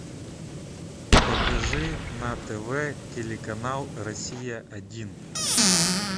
покажи на тв телеканал россия один